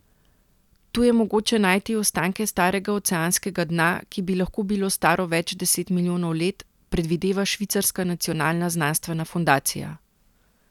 Tu je mogoče najti ostanke starega oceanskega dna, ki bi lahko bilo staro več deset milijonov let, predvideva Švicarska nacionalna znanstvena fundacija.